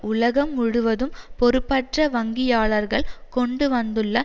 உலகம் முழுவதும் பொறுப்பற்ற வங்கியாளர்கள் கொண்டுவந்துள்ள